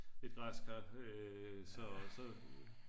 et græskar så